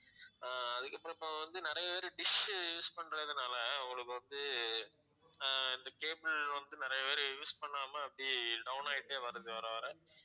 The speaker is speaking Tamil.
ஆஹ் அதுக்கு இப்ப~ இப்ப வந்து நிறைய பேர் dish use பண்றதால அவங்களுக்கு வந்து அஹ் இந்த cable வந்து நிறைய பேர் use பண்ணாம அப்படியே down ஆயிட்டே வருது வர வர